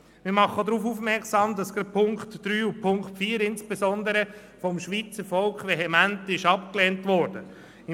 Wir machen auch darauf aufmerksam, dass insbesondere die Punkte 3 und 4 vom Schweizer Volk vehement abgelehnt worden sind.